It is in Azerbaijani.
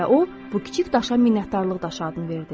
və o, bu kiçik daşa minnətdarlıq daşı adını verdi.